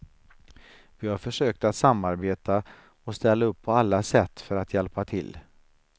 Vi har försökt att samarbeta och ställa upp på alla sätt för att hjälpa till.